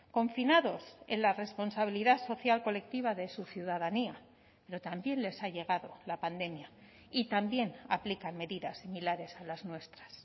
confinados en la responsabilidad social colectiva de su ciudadanía pero también les ha llegado la pandemia y también aplican medidas similares a las nuestras